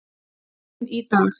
En í dag.